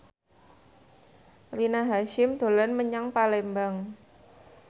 Rina Hasyim dolan menyang Palembang